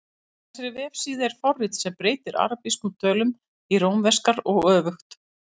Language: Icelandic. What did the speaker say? Á þessari vefsíðu er forrit sem breytir arabískum tölum í rómverskar og öfugt.